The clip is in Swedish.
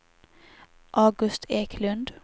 August Eklund